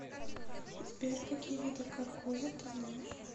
сбер какие виды каркоза ты знаешь